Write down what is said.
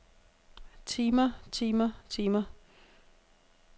timer timer timer